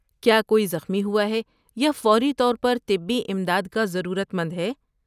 کیا کوئی زخمی ہوا ہے یا فوری طور پر طبی امداد کا ضرورت مند ہے؟